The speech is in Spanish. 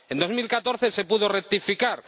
En 2014 se pudo rectificar.